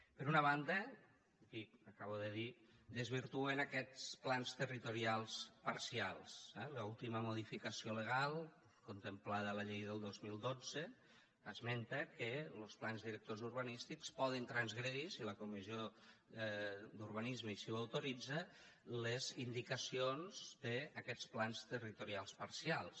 per una banda dic acabo de dir desvirtuen aquests plans territorials parcials eh l’última modificació legal contemplada a la llei del dos mil dotze esmenta que los plans directors urbanístics poden transgredir si la comissió d’urbanisme així ho autoritza les indicacions d’aquests plans territorials parcials